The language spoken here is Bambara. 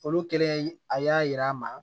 Olu kɛlen a y'a yira an na